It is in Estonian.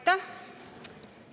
Aitäh!